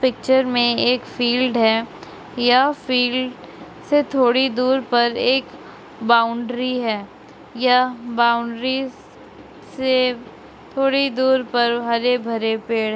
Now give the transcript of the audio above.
picture में एक field है या फील्ड से थोड़ी दूर पर एक बाउंड्री है यह बाउंड्रीज से थोड़ी दूर पर हरे भरे पेड़--